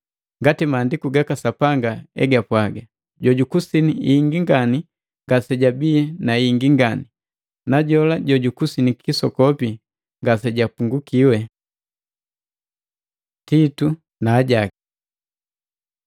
Ngati Maandiku gaka Sapanga egapwaga, “Jojukusinyi hingi ngani ngasejabii na yengi ngani, na jola jojukusinyi kisokopi ngasejapungukiwi.” Titu na ajaki